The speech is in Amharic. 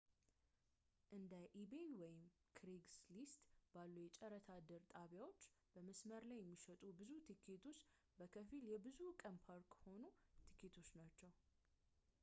እንደ ኢቤይebay ወይም ክሬግስሊስትcraigslist ባሉ የጨረታ ድር ጣቢያዎች በመስመር ላይ የሚሸጡ ብዙ ቲኬቶች በከፊል የብዙ ቀን ፓርክ-ሆፕ ቲኬቶች ናቸው